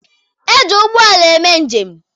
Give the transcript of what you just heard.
E ji ụgbọala eme njem